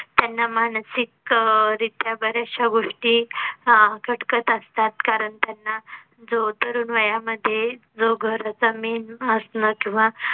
त्यांना मानसिक अह रित्या बरेचशे गोष्टी अह खटकत असतात. कारण त्यांना जो तरुण वयामध्ये जो घराचा main असन किंवा